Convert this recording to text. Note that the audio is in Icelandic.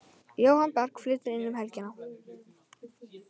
Jóhann Berg flytur inn um helgina.